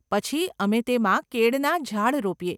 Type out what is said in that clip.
પછી, અમે તેમાં કેળના ઝાડ રોપીએ.